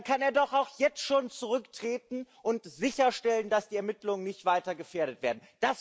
Ja, dann kann er doch auch jetzt schon zurücktreten und sicherstellen, dass die Ermittlungen nicht weiter gefährdet werden.